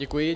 Děkuji.